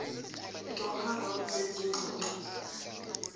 doha round zezingxoxo